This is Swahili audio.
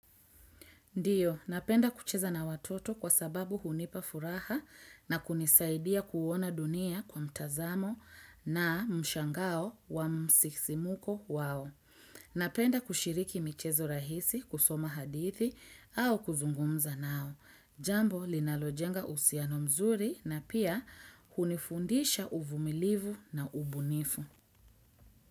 Ndio, napenda kucheza na watoto kwa sababu hunipa furaha na kunisaidia kuona dunia kwa mtazamo na mshangao wa msisimko wao. Napenda kushiriki michezo rahisi kusoma hadithi au kuzungumza nao. Jambo linalojenga uhusiano mzuri na pia hunifundisha uvumilivu na ubunifu.